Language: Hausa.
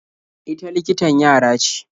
Ita likitan yara ce.